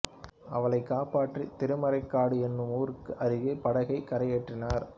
அவளைக் காப்பாற்றி திருமறைக்காடு எனும் ஊருக்கு அருகே படகைக் கரையேற்றி்னார்